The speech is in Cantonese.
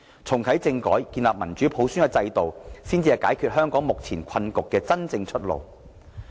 重啟政改和建立民主普選制度，才是解決香港目前困局的真正出路。